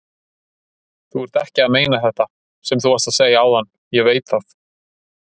Þú ert ekki að meina þetta sem þú varst að segja áðan, ég veit það.